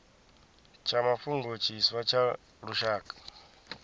tsha mafhungo tshiswa tsha lushaka